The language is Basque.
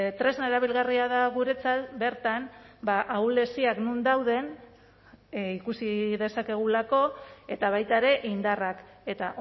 tresna erabilgarria da guretzat bertan ahuleziak non dauden ikusi dezakegulako eta baita ere indarrak eta